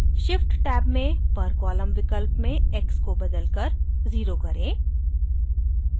shift tab में per column विकल्प में x को बदलकर 0 करें